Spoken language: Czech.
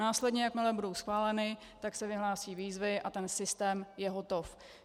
Následně, jakmile budou schváleny, tak se vyhlásí výzvy a ten systém je hotov.